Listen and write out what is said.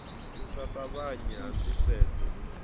u sa ṱavhanya ha ndisedzo